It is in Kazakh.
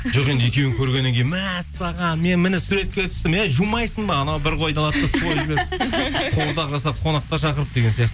жоқ енді екеуін көргеннен кейін мәссаған мен міне суретке түстім әй жумайсың ба анау бір қойды алады да қуырдақ жасап қонақтар шақырып деген